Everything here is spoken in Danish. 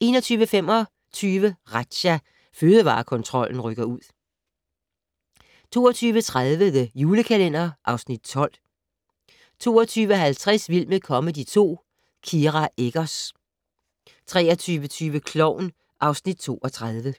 21:25: Razzia - Fødevarekontrollen rykker ud 22:30: The Julekalender (Afs. 12) 22:50: Vild med comedy 2 - Kira Eggers 23:20: Klovn (Afs. 32)